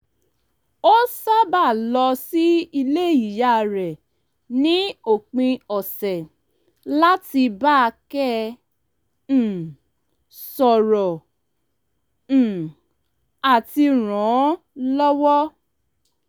ó sábàa lọ sí ilé ìyá rẹ̀ ní òpin ọ̀sẹ̀ láti bákẹ́ um sọ̀rọ̀ um àti ràn án lọ́wọ́